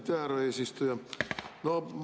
Aitäh, härra eesistuja!